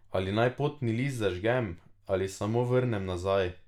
Ali naj potni list zažgem ali samo vrnem nazaj?